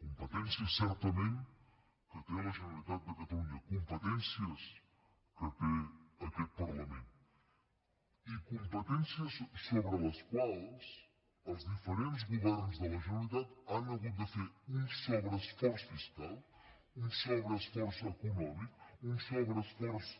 competència certament que té la generalitat de catalunya competències que té aquest parlament i competències sobre les quals els diferents governs de la generalitat han hagut de fer un sobreesforç fiscal un sobreesforç econòmic un sobreesforç